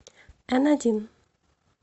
н один